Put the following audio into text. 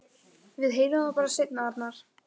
Við heyrum það bara seinna, Arnar.